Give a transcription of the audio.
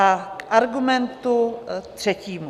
A k argumentu třetímu.